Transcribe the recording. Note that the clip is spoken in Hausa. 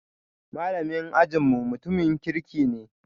Malamin ajin mu mutumin kirki ne